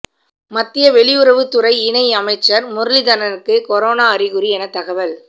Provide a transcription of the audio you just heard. மத்திய வெளியுறவுத்துறை இணை அமைச்சர் முரளிதரனுக்கு கொரோனா அறிகுறி என தகவல்